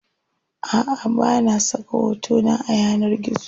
Aʼa bana saka hotona a yanar gizo.